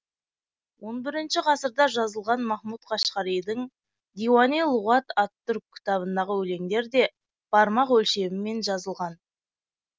он бірінші ғасырда жазылған махмұт қашқаридің диуани лұғат ат түрк кітабындағы өлеңдер де бармақ өлшемімен жазылған